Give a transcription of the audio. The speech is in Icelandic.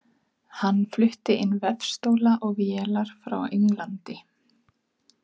Hann flutti inn vefstóla og vélar frá Englandi.